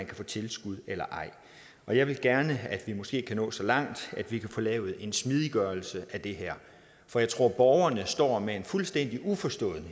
kan få tilskud eller ej jeg vil gerne have at vi måske kan nå så langt at vi kan få lavet en smidiggørelse af det her for jeg tror at borgerne står fuldstændig uforstående